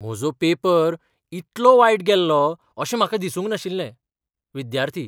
म्हजो पेपर इतलो वायट गेल्लो अशें म्हाका दिसूंक नाशिल्लें . विद्यार्थी